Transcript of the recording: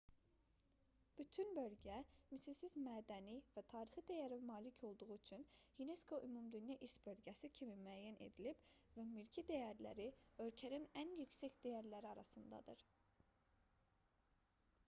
bütün bölgə misilsiz mədəni və tarixi dəyərə malik olduğu üçün unesco ümumdünya i̇rs bölgəsi kimi müəyyən edilib və mülki dəyərləri ölkənin ən yüksək dəyərləri arasındadır